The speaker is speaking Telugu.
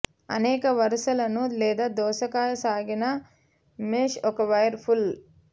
అనేక వరుసలను లేదా దోసకాయ సాగిన మెష్ ఒక వైర్ పుల్